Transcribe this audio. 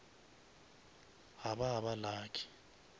ga ba ba lucky